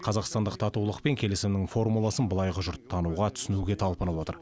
қазақстандық татулық пен келісімнің формуласын былайғы жұрт тануға түсінуге талпынып отыр